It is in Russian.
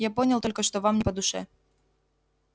я понял только что вам не по душе